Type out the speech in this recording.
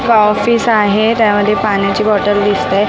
गा ऑफिस आहे त्यामध्ये पाण्याची बॉटल दिसतेय.